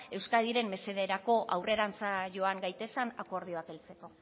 euskadiren mesederako aurrerantza joan gaitezen akordioak heltzeko